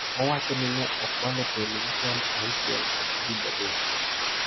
Owacho ni ne okwalo televison 6 kod frij 3.